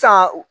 San